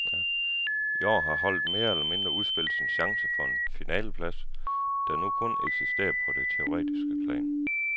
I år har holdet mere eller mindre udspillet sin chance for en finaleplads, der nu kun eksistere på det teoretiske plan.